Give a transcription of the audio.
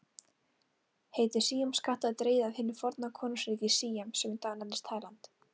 Heiti síamskatta er dregið af hinu forna konungsríki Síam sem í dag nefnist Tæland.